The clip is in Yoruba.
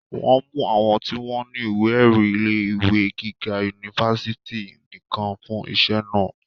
wọ́n mú àwọn tí wọ́n ní ìwé-ẹ̀rí ilé ìwé gíga unifásitì nìkan fún iṣẹ́ náà